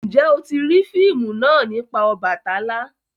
Njé o ti rii fíìmù náa nipa Obàtálá?